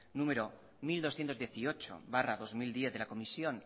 mil doscientos dieciocho barra dos mil diez de la comisión